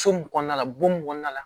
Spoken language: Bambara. So mun kɔnɔna la bon mun kɔnɔna la